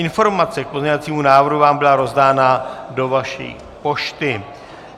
Informace k pozměňovacímu návrhu vám byla rozdána do vaší pošty.